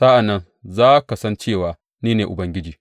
Sa’an nan za ka san cewa ni ne Ubangiji.